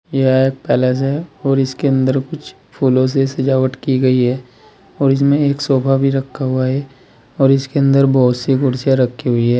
यह एक पैलेस है इसके अंदर कुछ फूलों से सजावट की गई है और इसमें एक सोफा भी रखा हुआ है और इसके अंदर बहुत सी कुर्सियां रखी हुई है।